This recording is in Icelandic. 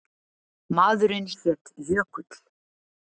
Maðurinn hét Jökull.